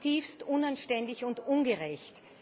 Dass ist zutiefst unanständig und ungerecht!